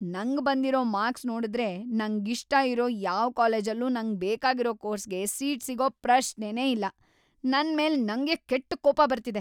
ನಂಗ್‌ ಬಂದಿರೋ ಮಾರ್ಕ್ಸ್‌ ನೋಡುದ್ರೆ ನಂಗಿಷ್ಟ ಇರೋ ಯಾವ್‌ ಕಾಲೇಜಲ್ಲೂ ನಂಗ್‌ ಬೇಕಾಗಿರೋ ಕೋರ್ಸ್‌ಗೆ ಸೀಟ್‌ ಸಿಗೋ ಪ್ರಶ್ನೆನೇ ಇಲ್ಲ.. ನನ್‌ ಮೇಲ್‌ ನಂಗೇ ಕೆಟ್ಟ್‌ ಕೋಪ ಬರ್ತಿದೆ.